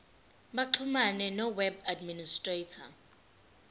baxhumane noweb administrator